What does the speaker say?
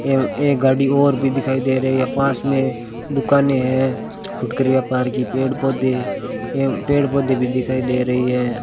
एवं एक गाड़ी और भी दिखाई दे रही है पास में दुकानें हैं फुटकर व्यापार की पेड़ पौधे एवं पेड़ पौधे भी दिखाई दे रही हैं।